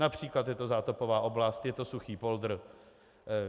Například je to zátopová oblast, je to suchý poldr.